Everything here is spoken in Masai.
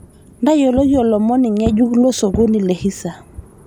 ntayioloki olomoni ng'ejuk losokoni le hisa